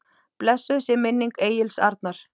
Blessuð sé minning Egils Arnar.